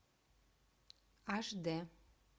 аш дэ